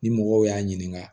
Ni mɔgɔw y'a ɲininka